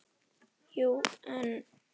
Jú, en